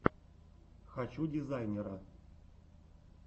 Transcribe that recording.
хочу дизайнера